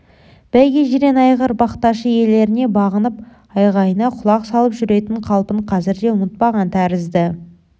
бәйге жирен айғыр бақташы иелеріне бағынып айғайына құлақ салып жүретін қалпын қазірде ұмытпаған тәрізді